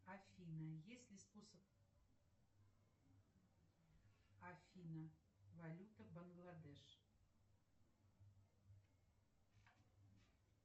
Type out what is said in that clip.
афина есть ли способ создать свободное поле для журналистики в россии и при этом не допустить чрезмерного влияния пропаганды извне